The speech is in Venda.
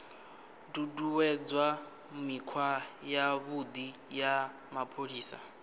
ṱuṱuwedza mikhwa yavhuḓi ya mapholisa